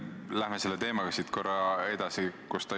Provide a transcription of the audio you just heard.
Läheme selle teemaga siit edasi.